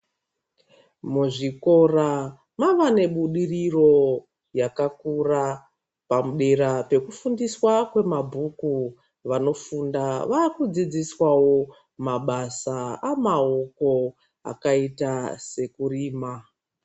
Muzvikora mavanebudiriro yakakura. Padera pekufundiswa kwemabhuku, vanofunda vakudzidziswawo mabasa amaoko akaita seekurima.